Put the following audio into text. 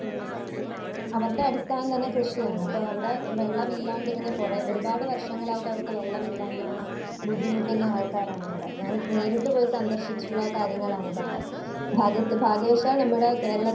Speaker 1 ഹ്മ് അവരുടെ അടിസ്ഥാനം തന്നെ കൃഷിയാണ്. അപ്പൊ അവിടെ വെള്ളമില്ലാണ്ടിരുന്ന കുറേ ഒരുപാട് വർഷങ്ങളായിട്ട് അവർക്ക് വെള്ളമില്ലാണ്ടിരുന്ന ബുദ്ധിമുട്ടുന്ന ആൾക്കാരാണവിടെ. ഞാൻ നേരിട്ട് പോയി സന്ദർശിച്ചിട്ടുള്ള കാര്യങ്ങളാണ് ഇതൊക്കെ. ഭാഗ്യ ഭാഗ്യവശാൽ നമ്മുടെ കേരളത്തിന്